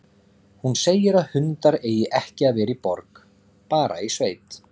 Hún segir að hundar eigi ekki að vera í borg, bara í sveit.